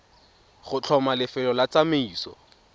go tlhoma lefelo la tsamaiso